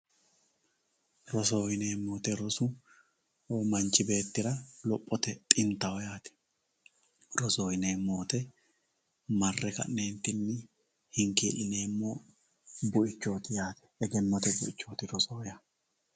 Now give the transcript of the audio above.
rosoho yineemmo woyiite rosoho manchi beettira lophote xintaho yaate rosoho yineemmo woyiite marre ka'ne hinkii'lineemmo bu'chchooti yaate egennnote buichooti yaate rosoho yaa